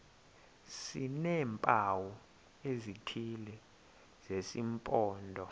sineempawu ezithile zesimpondo